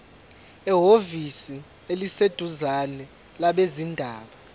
ehhovisi eliseduzane labezindaba